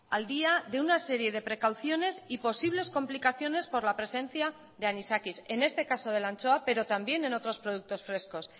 al día de una serie de precauciones y posibles complicaciones por la presencia de anisakis en este caso de la anchoa pero también en otros productos frescos